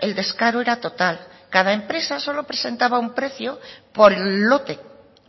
el descaro era total cada empresa solo presentaba un precio por lote